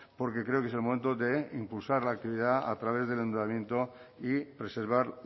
porque creo que es el momento de impulsar la actividad a través del endeudamiento y preservar